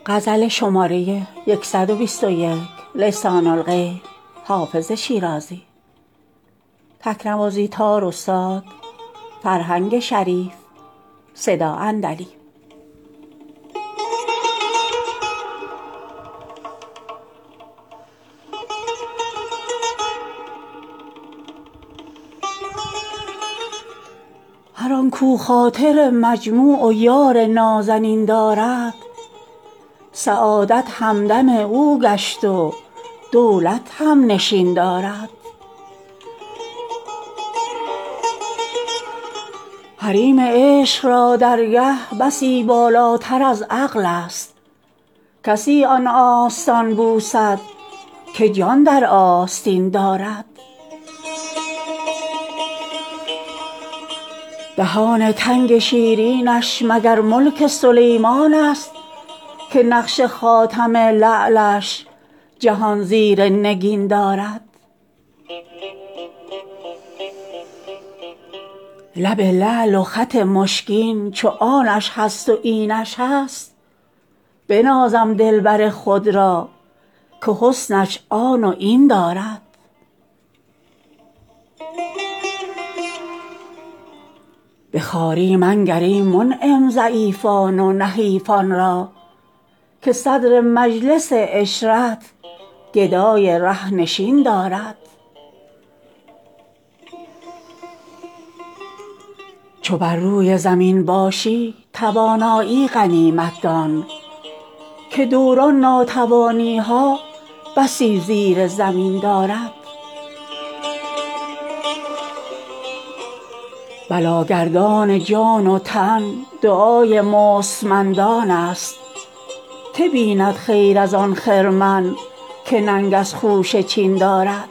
هر آن کاو خاطر مجموع و یار نازنین دارد سعادت همدم او گشت و دولت هم نشین دارد حریم عشق را درگه بسی بالاتر از عقل است کسی آن آستان بوسد که جان در آستین دارد دهان تنگ شیرینش مگر ملک سلیمان است که نقش خاتم لعلش جهان زیر نگین دارد لب لعل و خط مشکین چو آنش هست و اینش هست بنازم دلبر خود را که حسنش آن و این دارد به خواری منگر ای منعم ضعیفان و نحیفان را که صدر مجلس عشرت گدای ره نشین دارد چو بر روی زمین باشی توانایی غنیمت دان که دوران ناتوانی ها بسی زیر زمین دارد بلاگردان جان و تن دعای مستمندان است که بیند خیر از آن خرمن که ننگ از خوشه چین دارد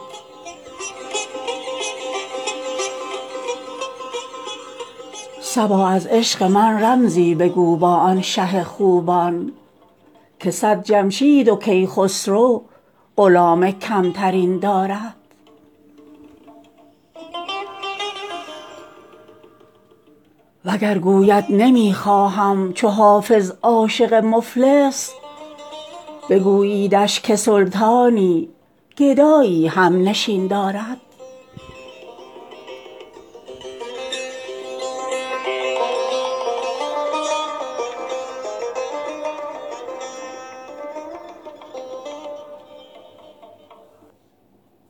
صبا از عشق من رمزی بگو با آن شه خوبان که صد جمشید و کیخسرو غلام کم ترین دارد وگر گوید نمی خواهم چو حافظ عاشق مفلس بگوییدش که سلطانی گدایی هم نشین دارد